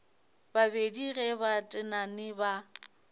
babedi ge ba tenane ba